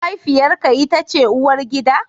Mahaifiyarka ita ce uwargida?